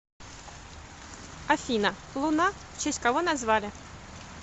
афина луна в честь кого назвали